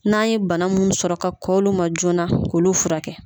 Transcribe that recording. N'a ye bana minnu sɔrɔ ka kɔn olu ma joona n'an y'olu furakɛ